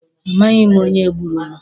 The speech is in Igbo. A maghi m onye gburu mụ.